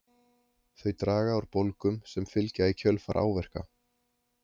þau draga úr bólgum sem fylgja í kjölfar áverka